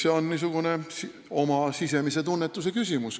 See on oma sisemise tunnetuse küsimus.